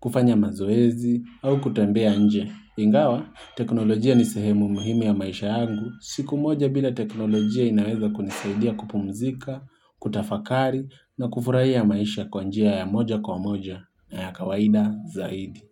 kufanya mazoezi au kutembea nje. Ingawa, teknolojia ni sehemu muhumu ya maisha yangu, siku moja bila teknolojia inaweza kunisaidia kupumzika, kutafakari na kufurahia maisha kwa njia ya moja kwa moja na ya kawaida zaidi.